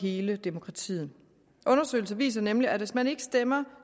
hele demokratiet undersøgelser viser nemlig at hvis man ikke stemmer